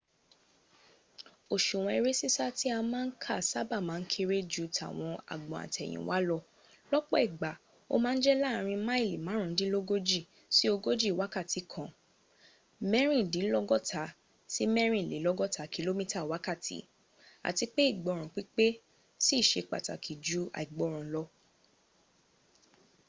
òsùwọ̀n eré sísá tí a má ń kà sáàba má n kéré ju tàwọn agbọn àtẹ̀yìnwá lọ- lọ́pọ̀ ìgbà ó ma ń jẹ́ láàrin máìlì márùndínlógójì sí ogóji wákàtí kan 56mẹ́rìndínlọ́gọta-mẹ́rìnlélọ́gọ́ta kìlómítà wákàtí - ati pe igboran pípe sí i se pàtàkì ju àìgbọ́ràn lọ